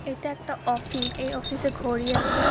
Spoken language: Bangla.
এতা একটা অফিস এই অফিস -এ ঘড়ি আসে--